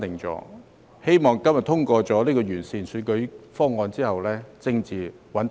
我希望今天通過有關完善選舉制度的《條例草案》後，政治亦會穩定。